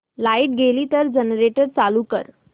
light गेली तर generator चालू कर